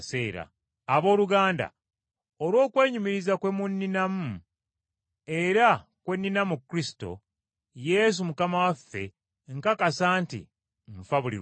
Abooluganda, olw’okwenyumiriza kwe munninamu, era kwe nnina mu Kristo Yesu Mukama waffe, nkakasa nti nfa buli lunaku.